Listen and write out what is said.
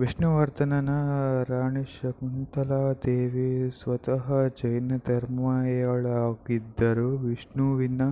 ವಿಷ್ಣುವರ್ಧನನ ರಾಣಿ ಶಾಂತಲಾದೇವಿ ಸ್ವತಃ ಜೈನಧರ್ಮೀಯಳಾಗಿದ್ದರೂ ವಿಷ್ಣುವಿನ